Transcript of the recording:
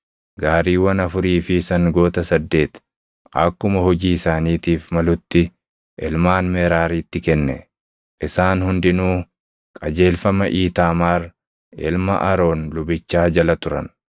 gaariiwwan afurii fi sangoota saddeet akkuma hojii isaaniitiif malutti ilmaan Meraaritti kenne. Isaan hundinuu qajeelfama Iitaamaar ilma Aroon lubichaa jala turan.